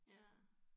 Ja